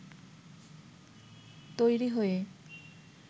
তৈরি হয়ে